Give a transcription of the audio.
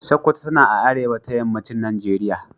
Sokoto tana a arewa ta yammacin Najeriya.